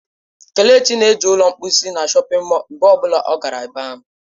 Kelechi na-eji ụlọ mposi na shọpin mọll mgbe ọ bụla ọ gara ebe ahụ.